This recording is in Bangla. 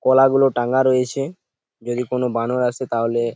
কলা গুলো টাঙ্গা রয়েছে যদি কোনো বানর আসে তাহলে--